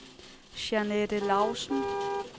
Jeanette Lausen